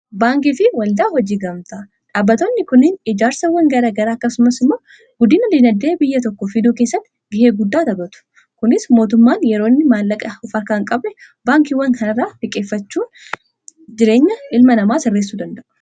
baankii fi waldaa hojii gamta dhaabbatoonni kuniin ijaarsawwan gara garaa akkasumas immoo guddiina diinaddee biyya tokko fiduu keessatti gihee guddaa tabatu kunis mootummaan yeroonni maallaqa ufarkaan qabe baankiiwwan kanarra fiqeeffachuun jireenya ilma namaa sirreessuu danda'u.